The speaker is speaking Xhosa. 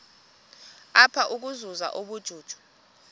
apha ukuzuza ubujuju